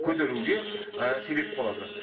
көтеруге і себеп болады